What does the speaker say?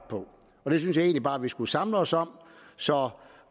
og det synes jeg egentlig bare vi skulle samle os om så